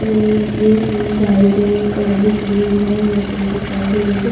अ यह तीन बाइक और एक कार भी खड़ी हुई है और अस्पताल के सामने एक ।